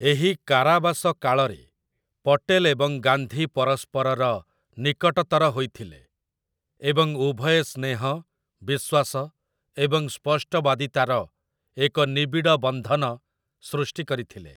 ଏହି କାରାବାସ କାଳରେ, ପଟେଲ ଏବଂ ଗାନ୍ଧୀ ପରସ୍ପରର ନିକଟତର ହୋଇଥିଲେ, ଏବଂ ଉଭୟେ ସ୍ନେହ, ବିଶ୍ୱାସ ଏବଂ ସ୍ପଷ୍ଟବାଦୀତାର ଏକ ନିବିଡ଼ ବନ୍ଧନ ସୃଷ୍ଟି କରିଥିଲେ ।